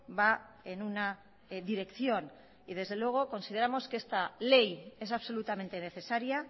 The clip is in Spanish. va en una dirección y desde luego consideramos que esta ley es absolutamente necesaria